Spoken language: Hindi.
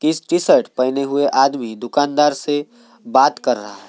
टी -श टी-शर्ट पहने हुए आदमी दुकानदार से बात कर रहा है।